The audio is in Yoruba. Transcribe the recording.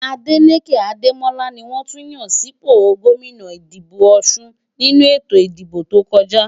Adeleke Ademola ni wọ́n tún yàn sípò gómìnà ìpínlè Ọ̀șun nínú ètò ìdìbò tó kọjá.